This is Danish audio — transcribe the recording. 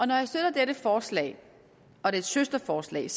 når jeg støtter dette forslag og dets søsterforslag er